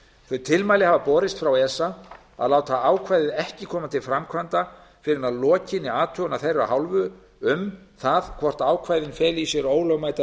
þau tilmæli hafa borist frá esa að láta ákvæðið ekki koma til framkvæmda fyrr en að lokinni athugun af þeirra hálfu um það hvort ákvæðin feli í sér ólögmæta